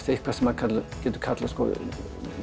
eitthvað sem getur kallast